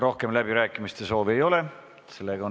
Rohkem läbirääkimiste soovi ei ole.